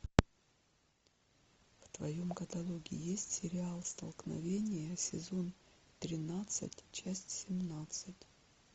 в твоем каталоге есть сериал столкновение сезон тринадцать часть семнадцать